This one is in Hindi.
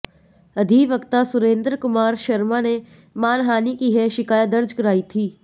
अधिवक्ता सुरेंद्र कुमार शर्मा ने मानहानि की यह शिकायत दर्ज कराई थी